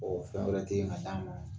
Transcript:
fɛn wɛrɛ tɛ yen ka d'a ma.